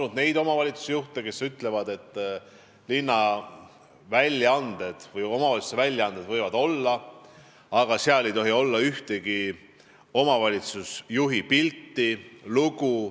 On neid omavalitsusjuhte, kes ütlevad, et linna või omavalitsuse väljaanded võivad olla, aga seal ei tohi olla ühtegi omavalitsusjuhi pilti ega lugu.